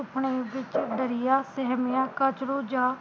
ਸੁਪਨੇ ਵਿਚ ਦਰੀਆ ਸਹਿਮਿਆ ਕਝਰੁ ਜਾ